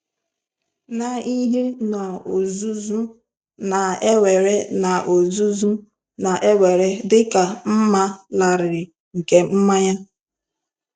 Na ihe n'ozuzu na-ewere n'ozuzu na-ewere dị ka mma larịị nke mmanya?